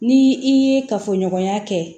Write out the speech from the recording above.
Ni i ye kafoɲɔgɔnya kɛ